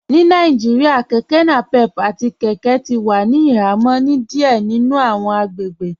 Ní Nàìjíríà kẹkẹ napep àti kẹkẹ ti wà ní ìhàmọ̀ ni díẹ̀ nínu awọn agbègbè